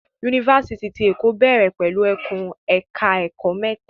Yunifásitì ti Èkó bẹ̀rẹ̀ pẹ̀lú ẹkùn ẹ̀ka ẹ̀kó mẹ́ta.